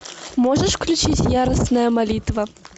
можешь включить яростная молитва